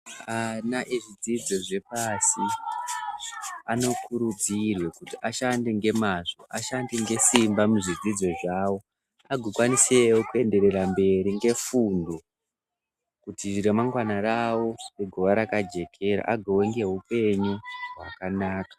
Ana ezvidzidzo zvepasi anokurudzirwe kuti ashande ngemazvo ashande ngesimba muzvidzidzo zvawo agokwanise kurnderera mberi ngefundo kuti ramangwana rawo rigowa jekera vawe neupenyu hwakanaka.